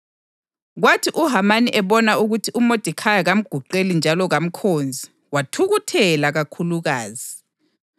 Kwathi uHamani ebona ukuthi uModekhayi kamguqeli njalo kamkhonzi, wathukuthela kakhulukazi.